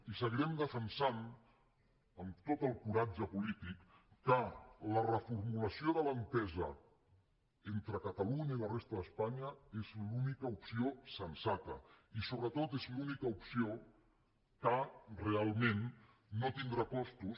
i seguirem defensant amb tot el coratge polític que la reformulació de l’entesa entre catalunya i la resta d’espanya és l’única opció sensata i sobretot és l’única opció que realment no tindrà costos